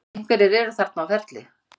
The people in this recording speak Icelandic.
Einhverjir eru þarna á ferli.